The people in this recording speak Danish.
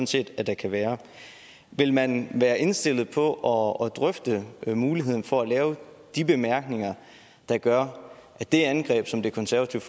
set at der kan være vil man være indstillet på at drøfte muligheden for at lave de bemærkninger der gør at det angreb som det konservative